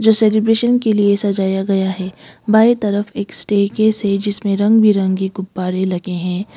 जो सेलिब्रेशन के लिए सजाया गया है बाय तरफ एक स्टे केस है जिसमें रंग बिरंगे गुब्बारे लगे हैं।